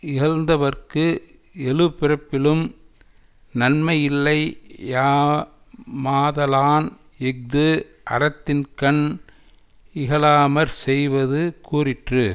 இகழ்ந்தவர்க்கு எழுபிறப்பிலும் நன்மையில்லையா மாதலான் இஃது அறத்தின்கண் இகழாமற் செய்வது கூறிற்று